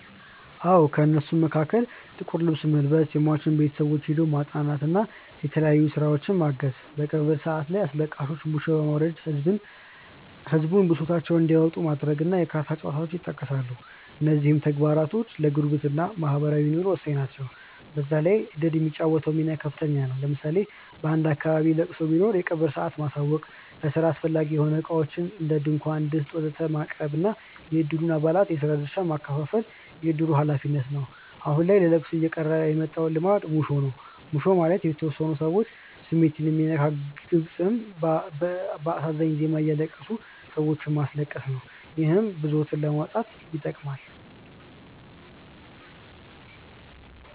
አዎ። ከእነሱም መሀከል ጥቁር ልብስ መልበስ፣ የሟች ቤተሰቦችን ሄዶ ማፅናናት እና የተለያዩ ስራዎችን ማገዝ፣ በቀብር ሰአት አስለቃሾች ሙሾ በማውረድ ህዝቡን ብሶታቸውን እንዲያወጡ ማድረግ እና የካርታ ጨዋታዎች ይጠቀሳሉ። እነዚህም ተግባራት ለጉርብትና (ማህበራዊ ኑሮ) ወሳኝ ናቸው። በዛ ላይ እድር የሚጫወተው ሚና ከፍተኛ ነው። ለምሳሌ በአንድ አካባቢ ለቅሶ ቢኖር የቀብሩን ሰአት ማሳወቅ፣ ለስራ አስፈላጊ የሆኑ እቃዎችን (ድንኳን፣ ድስት ወዘተ...) ማቅረብ እና የእድሩን አባላት የስራ ድርሻ ማከፋፈል የእድሩ ሀላፊነት ነው። አሁን ላይ ለለቅሶ እየቀረ የመጣው ልማድ ሙሾ ነው። ሙሾ ማለት የተወሰኑ ሰዎች ስሜት የሚነካ ግጥም በአሳዛኝ ዜማ እያለቀሱ ሰዎችንም ማስለቀስ ነው። ይህም ብሶትን ለማውጣት ይጠቅማል።